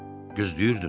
Gözləyirdim.